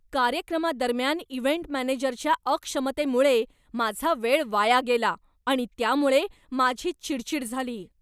कार्यक्रमादरम्यान इव्हेंट मॅनेजरच्या अक्षमतेमुळे माझा वेळ वाया गेला आणि त्यामुळे माझी चिडचीड झाली.